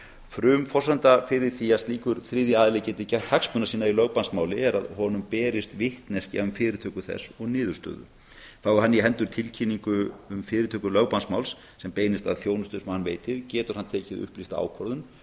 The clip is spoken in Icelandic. frumforsenda fyrir því að slíkur þriðji aðili geti gætt hagsmuna sína í lögbannsmáli er að honum berist vitneskja um fyrirtöku þess og niðurstöðu fái hann í hendur tilkynningu um fyrirtöku lögbannsmáls sem beinist að þjónustu sem hann veitir getur hann tekið upplýsta ákvörðun um